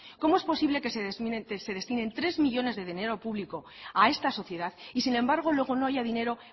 cómo es posible que se destinen tres millónes de dinero público a esta sociedad y sin embargo luego no haya dinero